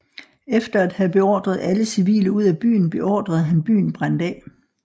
Efter at have beordret alle civile ud af byen beordrede han byen brændt af